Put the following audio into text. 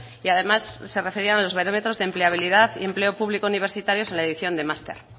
y además se referían a los barómetros de empleabilidad y empleo público universitarios en la edición de máster